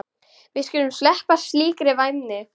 Við skyldum sleppa slíkri væmni.